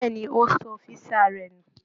Bẹ́ẹ̀ ni, ó sọ físà rẹ̀ nù